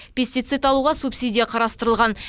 пестицид алуға субсидия қарастырылған